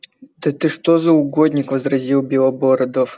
да ты что за угодник возразил белобородов